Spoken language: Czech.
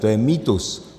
To je mýtus.